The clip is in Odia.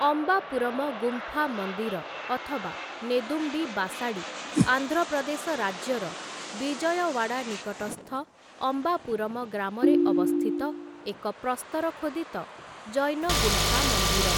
ଅମ୍ବାପୁରମ ଗୁମ୍ଫା ମନ୍ଦିର ଅଥବା ନେଦୁମ୍ବି ବାସାଡ଼ି ଆନ୍ଧ୍ର ପ୍ରଦେଶ ରାଜ୍ୟର ବିଜୟୱାଡ଼ା ନିକଟସ୍ଥ ଅମ୍ବାପୁରମ ଗ୍ରାମରେ ଅବସ୍ଥିତ ଏକ ପ୍ରସ୍ତର ଖୋଦିତ ଜୈନ ଗୁମ୍ଫା ମନ୍ଦିର ।